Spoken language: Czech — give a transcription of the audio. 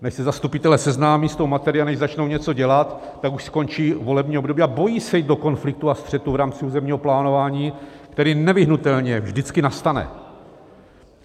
Než se zastupitelé seznámí s tou materií a než začnou něco dělat, tak už skončí volební období a bojí se jít do konfliktu a střetu v rámci územního plánování, který nevyhnutelně vždycky nastane.